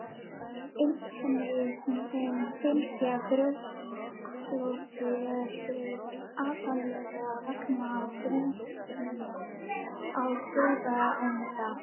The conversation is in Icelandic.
Einkennin sem fylgja brjósklosi eru aðallega vegna þrýstings á taugaenda.